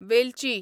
वेलची